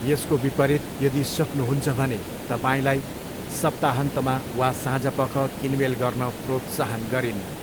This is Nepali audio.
यसको विपरीत, यदि सक्नुहुन्छ भने तपाईँलाई सप्ताहन्तमा वा साँझपख किनमेल गर्न प्रोत्साहन गरिन्न।